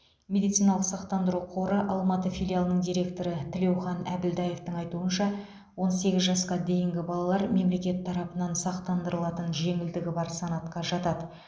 медициналық сақтандыру қоры алматы филиалының директоры тілеухан әбілдаевтың айтуынша он сегіз жасқа дейінгі балалар мемлекет тарапынан сақтандырылатын жеңілдігі бар санатқа жатады